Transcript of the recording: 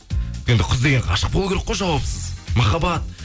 енді қыз деген ғашық болу керек қой жауапсыз махаббат